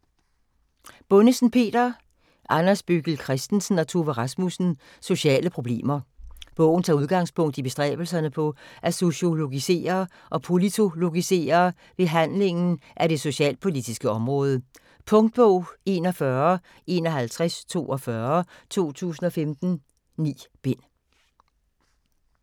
Bundesen, Peter, Anders Bøggild Christensen og Tove Rasmussen: Sociale problemer Bogen tager udgangspunkt i bestræbelserne på at sociologisere og politologisere behandlingen af det socialpolitiske område. Punktbog 415142 2015. 9 bind.